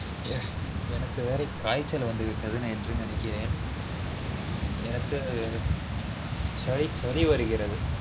எனக்கு வேற காய்ச்சல் வந்து விட்டது என்று நெனைக்கிறென் எனக்கு சளி சளி வருகிறது